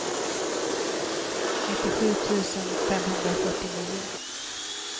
nittiosju tusen femhundrafyrtionio